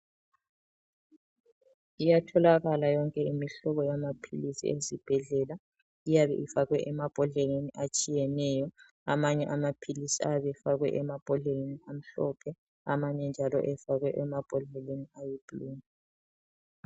Iyatholakala yonke imihlobo yamaphilisi ezibhedlela. Iyabe ifakwe emabhodleleni atshiyeneyo. Amanye amaphilisi ayabe efakwe emabhodleleni amhlophe, amanye njalo efakwe emabhodlelenii ayiblu.